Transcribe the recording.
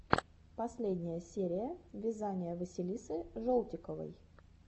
последняя серия вязания василисы жолтиковой